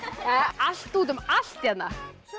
allt út um allt hérna